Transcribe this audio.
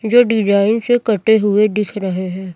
जो डिजाइन से कटे हुए दिख रहे हैं।